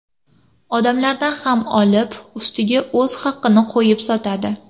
Odamlardan ham olib, ustiga o‘z haqini qo‘yib sotadi.